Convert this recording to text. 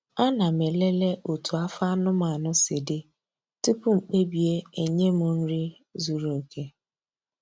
Ana m elele otú afọ anụmanụ si dị tupu m kpebie enye m nri zuru oke.